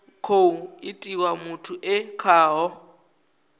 khou itiwa muthu e khaho